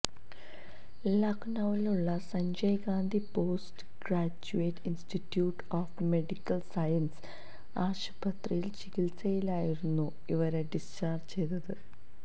ലഖ്നൌവിലുള്ള Sanjay Gandhi post graduate institute of medical science ആശുപത്രിയിൽ ചികിത്സയിലായിരുന്ന ഇവരെ ഡിസ്ചാർജ് ചെയ്തു